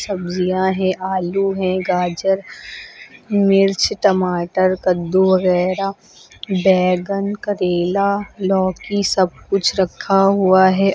सब्जियां हैं आलू है गाजर मिर्च टमाटर कद्दू वगैरा बैंगन करेला लौकी सब कुछ रखा हुआ है।